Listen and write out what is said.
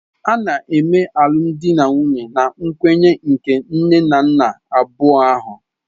A na-eme alụmdi na nwunye na nkwenye nke nne na nna abụọ ahụ.